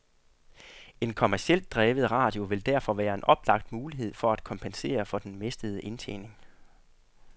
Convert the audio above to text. En kommercielt drevet radio vil derfor være en oplagt mulighed for at kompensere for den mistede indtjening.